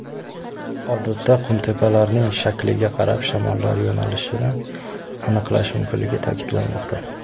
Odatda qumtepalarning shakliga qarab shamollar yo‘nalishini aniqlash mumkinligi ta’kidlanmoqda.